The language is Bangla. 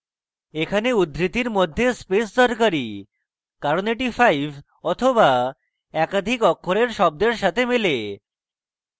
এখানে উদ্ধৃতির মধ্যে space দরকারী কারণ এটি 5 অথবা একাধিক অক্ষরের শব্দের সাথে মেলে